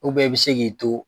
i bɛ se k'i to